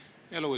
Palun!